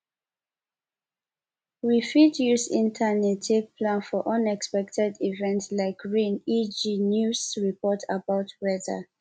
we fit use internet take plan for unexpected event like rain eg news report about weather